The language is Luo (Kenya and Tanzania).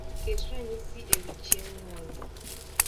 ket ranyisi ewi chieng nyuolna